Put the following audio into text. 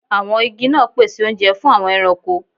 Àwọn igi náà pèsè oúnjẹ fún àwọn ẹranko